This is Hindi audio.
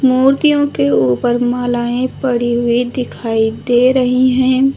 मूर्तियों के ऊपर मालाएं पड़ी हुई दिखाई दे रही हैं।